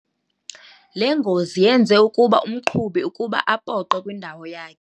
Le ngozi yenze ukuba umqhubi ukuba apoqe kwindawo yakhe.